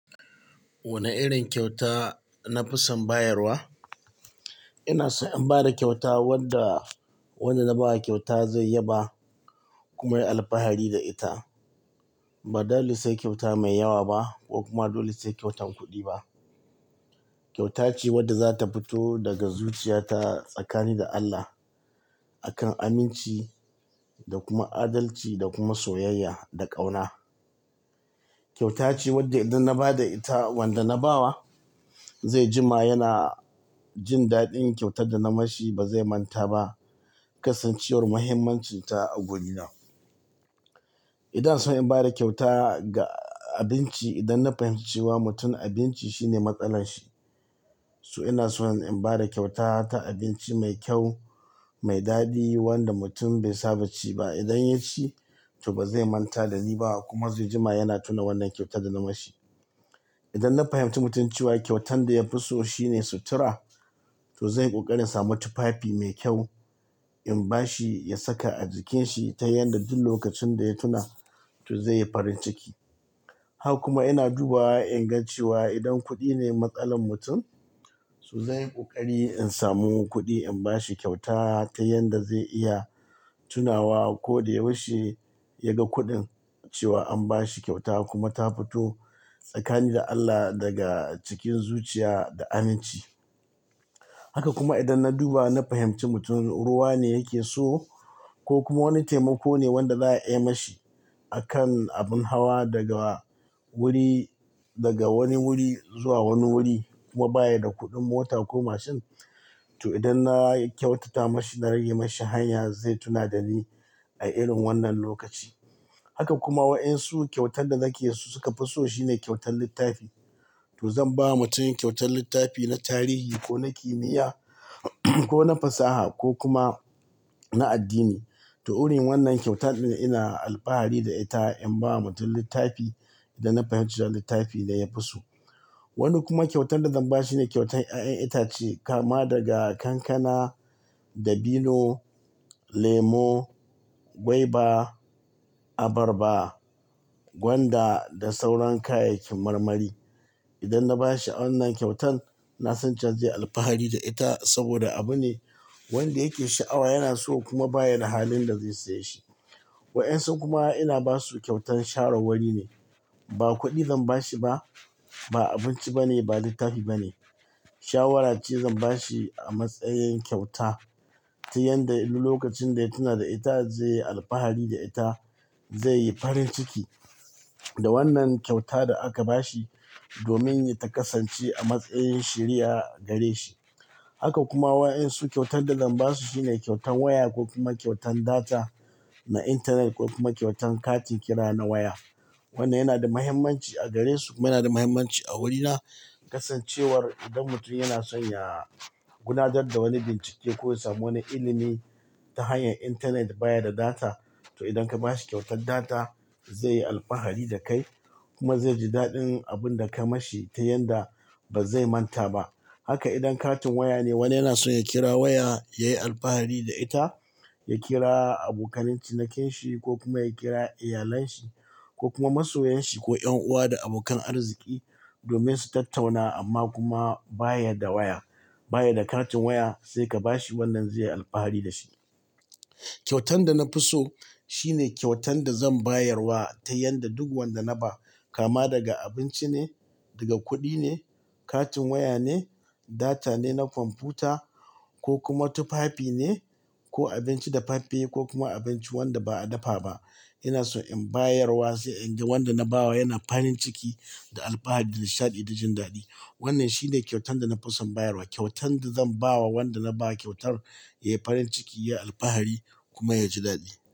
Wane irin kyauta na fi son bayarwa? Ina son in ba da kyauta wanda, wanda na ba kyauta zai yaba kuma yi alfahari da ita. Ba dole se kyauta mai yawa ba ko kuma dole se kyautan kuɗi ba. Kyauta ce wadda za ta fito daga zuciyata tsakanin da Allah, a kan aminci da kuma adalci da kuma soyayya da ƙauna. Kyauta ce wadda idan na ba da ita wanda na bawa ze jima yana jin daɗin kyautar da na mashi ba ze manta ba kasancewar muhimmancinta a gorina. Idan so in ba da kyauta ga abinci, idan na fahimci cewa mutum abinci shine matsalarshi. So ina son in ba da kyauta ta abinci mai kyau, mai daɗi wanda mutum be saba ci ba. Idan ya ci to ba ze manta da ni ba kuma ze jima yana tuna wannan kyauta da na mashi. Idan na fahimci mutum cewa kyautan da ya fi so shine sutura, to zan yi ƙoƙari in samu tufafi me kyau in bashi ya saka a jikinshi ta yanda duk lokacin da ya tuna to ze yi farin ciki. Haka kuma ina dubawa in ga cewa idan kuɗi ne matsalar mutum, so zan yi ƙoƙari in samu kuɗi in bashi kyauta ta yanda ze iya tunawa ko da yaushe ya ga kuɗin cewa an bashi kyauta kuma ta fito tsakani da Allah daga cikin zuciya da aminci. Haka kuma idan na duba na fahimci mutum ruwa ne yake so ko kuma wani taimako ne wanda za a yi mashi a kan abin hawa daga wuri, daga wani wuri zuwa wani wuri kuma baya da kuɗin mota ko mashin, to idan na kyautata mashi na rage mashi hanya zai tuna da ni a irin wannan lokaci. Haka kuma waɗansu kyautan da nake so suka fi so shine kyautan littafi. To zan ba mutum kyautan littafi na tarihi ko na kimiyya ko na fasaha ko kuma na addini. To urin wannan kyautan ina alfahari da ita in bawa mutum littafi idan na fahimci cewa littafin da ya fi so. Wani kuma kyautan da zan ba shi ne kyautan ƴaƴan itace kama daga kankana da bino, lemo, gwaiba, abarba, gwanda da sauran kayayyakin marmari. Idan na ba shi awannan kyautan, na san cewa ze yi alfahari da ita saboda abu ne wanda yake sha'awa yana so kuma baya da halin da ze saye shi. Way'ansu kuma ina basu kyautan sharar wuri ne. Ba kuɗi zan bashi ba, ba abinci bane, ba littafi bane. Shawara ce zan bashi a matsayin kyauta ta yanda in lokacin da ya tuna da ita ze yi alfahari da ita, ze yi farin ciki da wannan kyauta da aka bashi domin ya ta kasance a matsayin shiriya gare shi. Haka kuma way'ansu kyautan da zan basu shine kyautan waya ko kuma kyautan data na intanet ko kuma kyautan katin kira na waya. Wannan yana da mahimmanci a gare su kuma yana da mahimmanci a wurina. Kasancewar idan mutum yana son ya gudanad da wani bincike ko ya samu wani ilimi ta hanyar intanet baya da data. To idan ka bashi kyautan data ze yi alfahari da kai kuma ze ji daɗin abun da ka mashi ta yanda ba ze manta ba. Haka idan katin waya ne wani yana son ya kira waya, ya yi alfahari da ita, ya kira abokanan cinikin shi ko kuma ya kira iyalen shi ko kuma masoyan shi ko 'yan'uwa da abokan arziki domin su tattauna amma kuma baya da waya, baya da katin waya. Se ka bashi wannan ze yi alfahari da shi. Kyautan da na fi so shine kyautan da zan bayarwa ta yadda duk wanda na ba kama daga abinci ne, daga kuɗi ne, katin waya ne, data ne na kwamfuta ko kuma tufafi ne ko abinci da faffe ko kuma abinci wanda ba a dafa ba. Ina son in bayarwa se in ga wanda na bawa yana farin ciki da alfahari da nishaɗi da jin daɗi. Wannan shine kyautan da na fi son bayarwa, kyautan da zan bawa wanda na ba kyautar ya yi farin ciki, ya yi alfahari kuma ya ji daɗi.